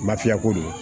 Lafiyako don